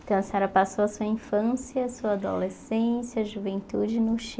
Então, a senhora passou a sua infância, sua adolescência, juventude no